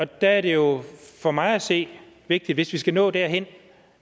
der er det jo for mig at se vigtigt hvis vi skal nå derhen